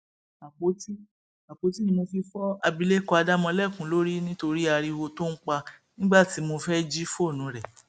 àpótí àpótí ni mo fi fọ abilékọ adamọlẹkun lórí nítorí ariwo tó ń pa nígbà tí mo fẹẹ jí fóònù rẹ